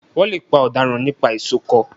Wọ́n lè pa ọ̀daràn nípa ìsokọ́